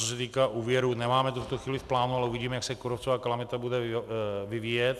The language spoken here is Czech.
Co se týká úvěru, nemáme to v tuto chvíli v plánu, ale uvidíme, jak se kůrovcová kalamita bude vyvíjet.